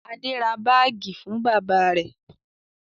Adé ra báágì fún bàbá rẹ̀?